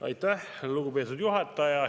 Aitäh, lugupeetud juhataja!